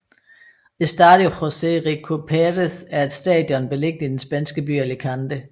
Estadio José Rico Pérez er et stadion beliggende i den spanske by Alicante